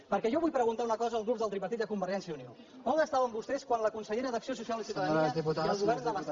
perquè jo vull preguntar una cosa al grups del tripartit i a convergència i unió on estaven vostès quan la consellera d’acció social i ciutadania